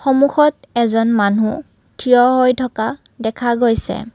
সন্মুখত এজন মানুহ থিয় হৈ থকা দেখা গৈছে।